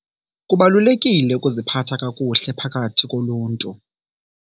Kubalulekile ukuziphatha kakuhle phakathi koluntu.